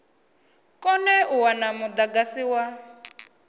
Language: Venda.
kone u wana mudagasi wa